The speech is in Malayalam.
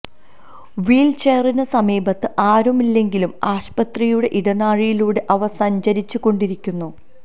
വീല് ചെയറിന് സമീപത്ത് ആരുമില്ലെങ്കിലും ആശുപത്രിയുടെ ഇടനാഴിയിലൂടെ അവ സഞ്ചരിച്ച് കൊണ്ടിരിക്കുന്നു